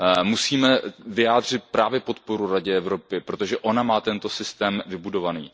Musíme vyjádřit právě podporu Radě Evropy, protože ona má tento systém vybudovaný.